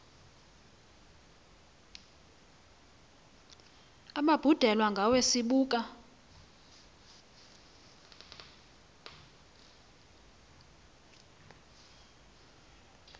ababhudelwe ngawe sibuka